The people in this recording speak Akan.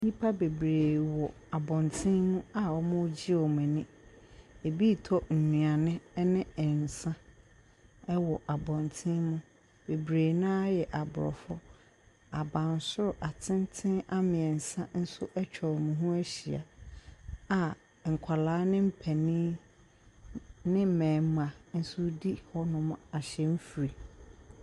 Nipa beberee wɔ abɔnten a wɔn regye w'ani. Ebi retɔ nnuane ɛne nsa ɛwɔ abɔntene. Beberee no ara yɛ aborɔfo. Abansoro atenten ammiɛnsa nso atwa wɔn ho ahyia a nkɔraa ne mpanin ne mmɛɛma nso redi hɔnom ahyɛnfiri.